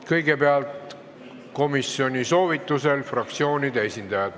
Kõigepealt komisjoni soovitusel fraktsioonide esindajad.